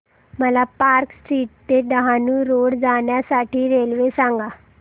मला Park Street ते Dahanu road जाण्या साठी रेल्वे सांगा